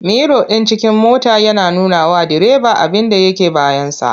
Miro ɗin cikin mota yana nunawa direba abinda yake bayansa.